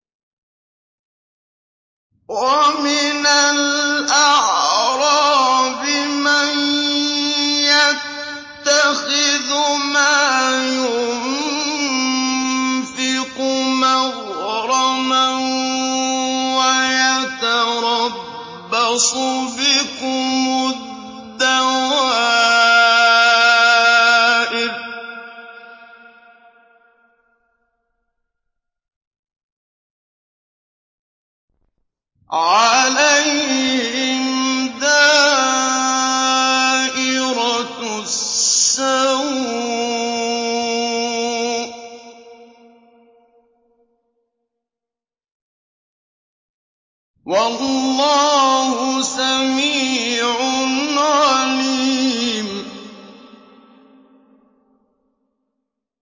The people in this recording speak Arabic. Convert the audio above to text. وَمِنَ الْأَعْرَابِ مَن يَتَّخِذُ مَا يُنفِقُ مَغْرَمًا وَيَتَرَبَّصُ بِكُمُ الدَّوَائِرَ ۚ عَلَيْهِمْ دَائِرَةُ السَّوْءِ ۗ وَاللَّهُ سَمِيعٌ عَلِيمٌ